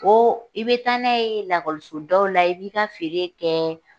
Ko i bɛ taa n'a ye lakɔliso daw la, i b'i ka feere kɛ,